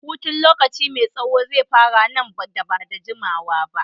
Hutun lokaci mai tsaho zai fara nan da ba da jimawa ba.